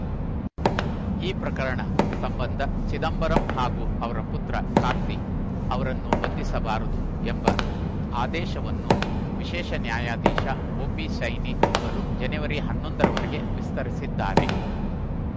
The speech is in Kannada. ಈ ಪ್ರಕರಣ ಸಂಬಂಧ ಚಿದಂಬರಂ ಹಾಗೂ ಅವರ ಪುತ್ರ ಕಾರ್ತಿ ಅವರನ್ನು ಬಂಧಿಸಬಾರದು ಎಂಬ ಆದೇಶವನ್ನು ವಿಶೇಷ ನ್ಯಾಯಾಧೀಶ ಒಪಿ ಸೈನಿ ಅವರು ಜನವರಿ ಹನ್ನೊಂದ ರವರೆಗೆ ವಿಸ್ತರಿಸಿದ್ದಾರೆ